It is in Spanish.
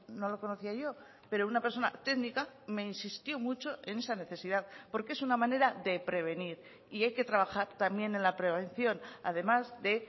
no lo conocía yo pero una persona técnica me insistió mucho en esa necesidad porque es una manera de prevenir y hay que trabajar también en la prevención además de